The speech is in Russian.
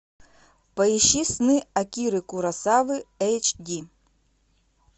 поищи сны акиры куросавы эйч ди